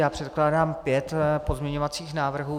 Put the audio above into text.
Já předkládám pět pozměňovacích návrhů.